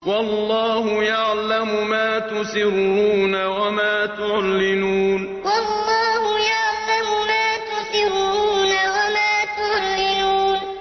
وَاللَّهُ يَعْلَمُ مَا تُسِرُّونَ وَمَا تُعْلِنُونَ وَاللَّهُ يَعْلَمُ مَا تُسِرُّونَ وَمَا تُعْلِنُونَ